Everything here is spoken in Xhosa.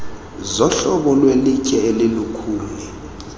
zohlobo lwelitye elilukhuni